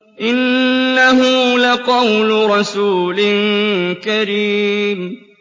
إِنَّهُ لَقَوْلُ رَسُولٍ كَرِيمٍ